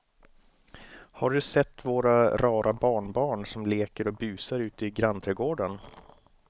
Har du sett våra rara barnbarn som leker och busar ute i grannträdgården!